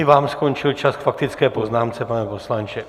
I vám skončil čas k faktické poznámce, pane poslanče.